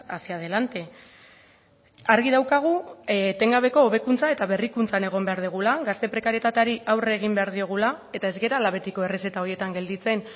hacia delante argi daukagu etengabeko hobekuntza eta berrikuntzan egon behar dugula gazte prekarietateari aurre egin behar diogula eta ez garela betiko errezeta horietan gelditzen